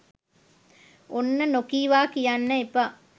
ඔන්න නොකීවා කියන්න එපා